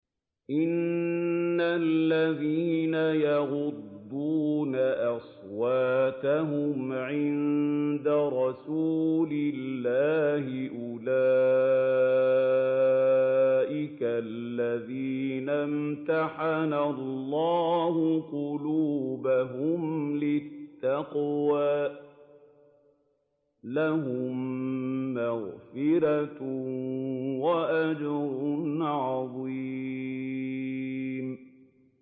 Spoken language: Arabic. إِنَّ الَّذِينَ يَغُضُّونَ أَصْوَاتَهُمْ عِندَ رَسُولِ اللَّهِ أُولَٰئِكَ الَّذِينَ امْتَحَنَ اللَّهُ قُلُوبَهُمْ لِلتَّقْوَىٰ ۚ لَهُم مَّغْفِرَةٌ وَأَجْرٌ عَظِيمٌ